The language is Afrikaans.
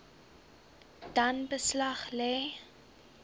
dan beslag lê